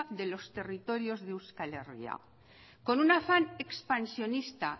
de los territorios de euskal herria con un afán expansionista